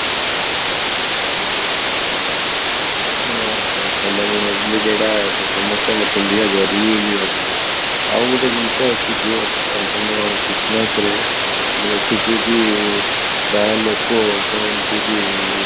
ଅହଃ ତାହେଲେ ମୁଁ ଭାବିଲି କି ଏଟା ସମସ୍ତଙ୍କ ପିନ୍ଧିବା ଜରୁରୀ ବୋଲି ଭାବିଲି ଆଉ ଗୋଟେ ଜିନିଷ ଅଛି କି ତମ christmas ରେ ମୁଁ ଦେଖିଛି କି ପ୍ରାୟ ଲୋକ କହନ୍ତି କି